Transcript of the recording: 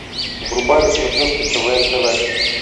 врубай на смотрешке квн тв